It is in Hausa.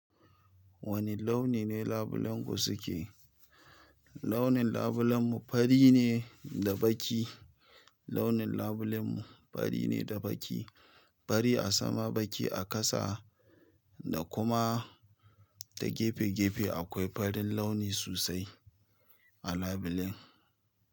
Wane launi ne labulenku suke? Launin labulen mu fari ne da baki. Launin labulen mu fari ne da baki. Fari a sama, baki a ƙasa da kuma da gefe-gefe akwai farin launi sosai a labulen.